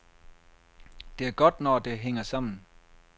Det er godt når det hænger sammen.